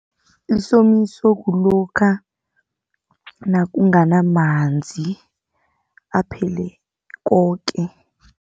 Isomiso kulokha, nakunganamanzi aphele koke.